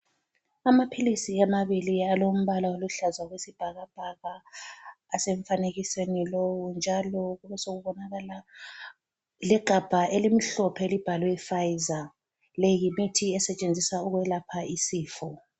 Amaphilisi amabili alombalo oluhlaza okwesibhakabhaka, asemfanekisweni lowu njalo besekubonakala legabha elimhlophe elibhalwe Fayiza. Le yimithi esetshenziswa ukwelapha isifo.